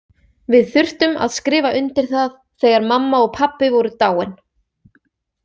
Við þurftum að skrifa undir það þegar mamma og pabbi voru dáin.